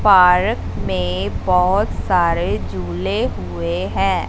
Park में बहोत सारे झूले हुए हैं।